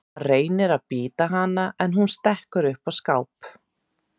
Hann reynir að bíta hana en hún stekkur upp á skáp.